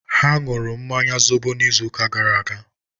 Ha nụrụ mmanya zobo izu ụka gara aga